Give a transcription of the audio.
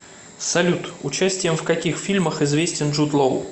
салют участием в каких фильмах известен джуд лоу